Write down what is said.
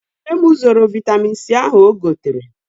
Nne m zoro vaịtamin C ahụ o gotere.